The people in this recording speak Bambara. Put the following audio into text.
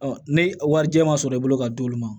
ne warijɛ ma sɔrɔ i bolo ka d'olu ma